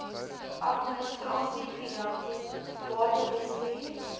administrasie finansies batebestuur